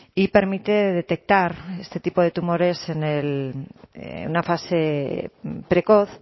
y permite detectar este tipo de tumores en una fase precoz